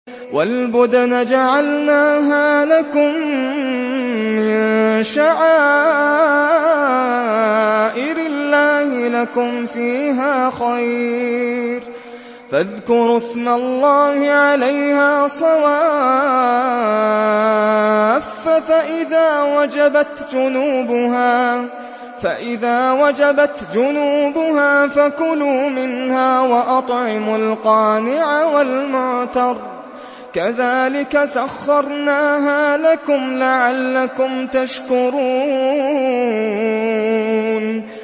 وَالْبُدْنَ جَعَلْنَاهَا لَكُم مِّن شَعَائِرِ اللَّهِ لَكُمْ فِيهَا خَيْرٌ ۖ فَاذْكُرُوا اسْمَ اللَّهِ عَلَيْهَا صَوَافَّ ۖ فَإِذَا وَجَبَتْ جُنُوبُهَا فَكُلُوا مِنْهَا وَأَطْعِمُوا الْقَانِعَ وَالْمُعْتَرَّ ۚ كَذَٰلِكَ سَخَّرْنَاهَا لَكُمْ لَعَلَّكُمْ تَشْكُرُونَ